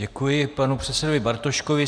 Děkuji panu předsedovi Bartoškovi.